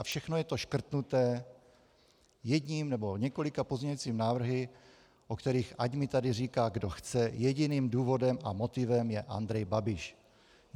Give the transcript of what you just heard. A všechno je to škrtnuté jedním nebo několika pozměňujícími návrhy, o kterých ať mi tady říká, kdo chce, jediným důvodem a motivem je Andrej Babiš.